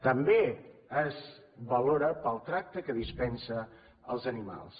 també es valora pel tracte que dispensa als animals